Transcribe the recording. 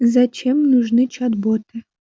зачем нужны чат боты